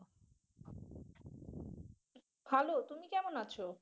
ভালো, তুমি কেমন আছো?